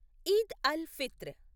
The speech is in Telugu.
ఈద్ అల్ ఫిత్ర్